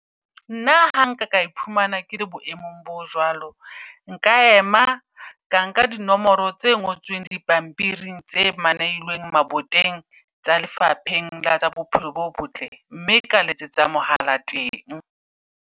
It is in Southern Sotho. Nna ha nka ka iphumana ke le boemong bo jwalo. Nka ema ka nka di nomoro tse ngotsweng dipampiring tse maneilweng maboteng. Tsa lefapheng la tsa bophelo bo botle, mme ka letsetsa mohala teng.